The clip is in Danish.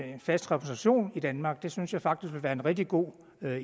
en fast repræsentation i danmark det synes jeg faktisk ville være en rigtig god